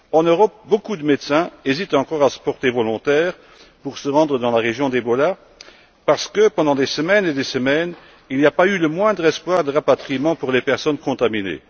En Europe, de nombreux médecins hésitent encore à se porter volontaires pour se rendre dans la région où sévit le virus parce que, pendant des semaines et des semaines, il n'y a pas eu le moindre espoir de rapatriement pour les personnes contaminées.